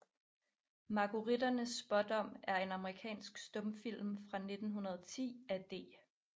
Marguerittens Spaadom er en amerikansk stumfilm fra 1910 af D